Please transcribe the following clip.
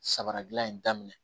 Sabaradilan in daminɛ